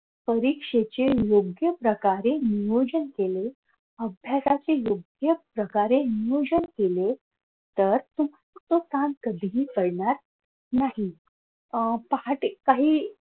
परीक्षेचे योग्य प्रकारे नियोजन केले अभ्यासातील योग्य प्रकारे नियोजन केले तर तो ताण कधीही पडणार नाही अह पहाटे काही